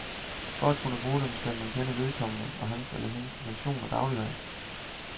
For at kunne bruge dem, skal man kende vedkommende og hans eller hendes situation og dagligdag.